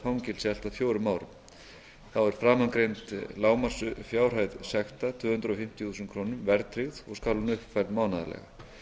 fangelsi allt að fjórum árum þá er framangreind lágmarksfjárhæð sekta tvö hundruð fimmtíu þúsund krónur verðtryggð og skal hún uppfærð mánaðarlega